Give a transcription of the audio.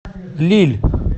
лилль